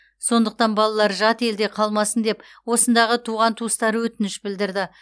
сондықтан балалары жат елде қалмасын деп осындағы туған туыстары өтініш білдірді